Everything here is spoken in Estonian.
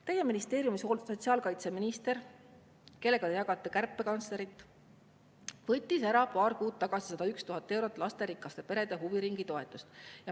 Teie ministeeriumi sotsiaalkaitseminister, kellega te jagate kärpekantslerit, võttis paar kuud tagasi ära 101 000 eurot lasterikaste perede huviringitoetust.